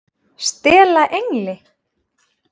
STELA ENGLI!